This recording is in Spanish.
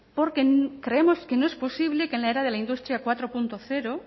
porque creemos que no es posible que en la era de la industria cuatro punto cero